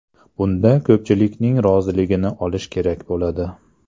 Bunda ko‘pchilikning roziligini olish kerak bo‘ladi.